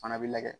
Fana bɛ lajɛ